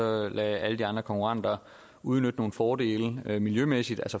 og lade alle de andre konkurrenter udnytte nogle fordele miljømæssigt